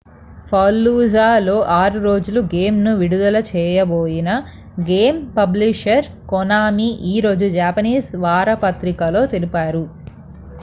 fallujahలో 6 రోజుల గేమ్‌ను విడుదల చేయబోమని గేమ్ పబ్లిషర్ konami ఈరోజు japanese వారపత్రికలో తెలిపారు